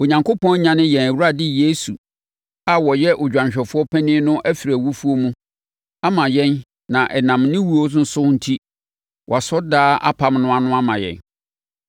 Onyankopɔn anyane yɛn Awurade Yesu a ɔyɛ odwanhwɛfoɔ panin no afiri awufoɔ mu ama yɛn na ɛnam ne owuo no so enti, wɔasɔ daa apam no ano ama yɛn.